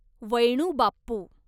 वैणू बाप्पू